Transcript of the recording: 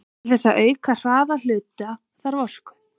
Til þess að auka hraða hluta þarf orku.